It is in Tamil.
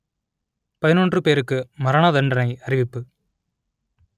பதினொன்று பேருக்கு மரணதண்டனை அறிவிப்பு